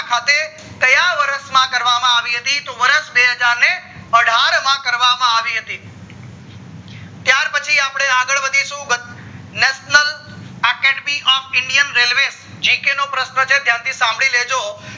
ખાતે ક્યાં વર્ષ માં કરવામાં આવી હતી તો વર્ષ બે હજાર ને અઢાર માં કરવામાં આવી હતી ત્યાર પછી આપડે આગળ વધીધું national academy of indian railwaygk નો પ્રશ્ન છે ધ્યાન થી સાંભળી લેજો